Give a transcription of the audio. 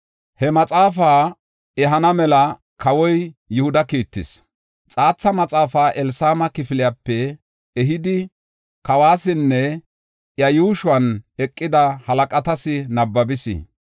He maxaafaa ehana mela, kawoy Yihuda kiittis; xaatha maxaafaa Elishama kifilepe ehidi, kawasinne iya yuushuwan eqida halaqatas nabbabis.